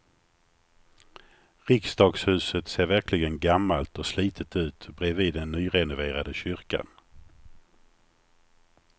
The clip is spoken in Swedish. Riksdagshuset ser verkligen gammalt och slitet ut bredvid den nyrenoverade kyrkan.